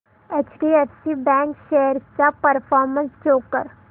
HDFC bank shares चा performance show कर